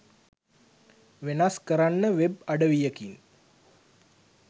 වෙනස් කරන්න වෙබ් අඩවියකින්